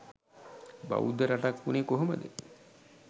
බෞද්ධ රටක් වුනේ කොහොමද